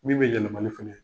Min be yɛlɛɛmali fɛnɛ